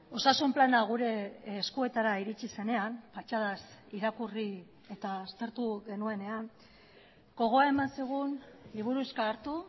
osasun plana gure eskuetara iritsi zenean patxadaz irakurri eta aztertu genuenean gogoa eman zigun liburuxka hartu